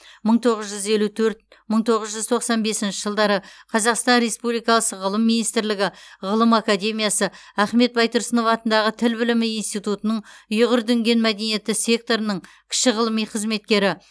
мың тоғыз жүз елу төрт мың тоғыз жүз тоқсан бесінші жылдары қазақстан республикасы ғылым министрлігі ғылым академиясы ахмет байтұрсынов атындағы тіл білімі институтының ұйғыр дүнген мәдениеті секторының кіші ғылыми қызметкері